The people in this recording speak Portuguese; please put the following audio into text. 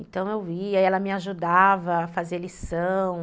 Então eu ia e ela me ajudava a fazer lição.